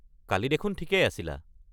কালি দেখোন ঠিকেই আছিলা।